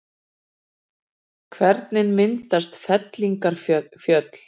Hvernig myndast fellingafjöll?